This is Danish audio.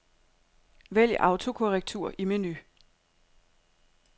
Vælg autokorrektur i menu.